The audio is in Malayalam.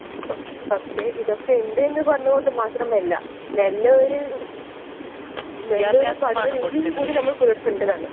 പക്ഷേ ഇതൊക്കെ ഉണ്ട് എന്ന് പറഞ്ഞത് കൊണ്ട് മാത്രം അല്ല നല്ല ഒരു പഠന രീതിയും കൂടി നമ്മൾ പുലർത്തണ്ടതാണ്